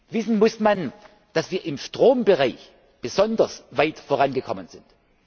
Wissen muss man, dass wir im Strombereich besonders weit vorangekommen sind.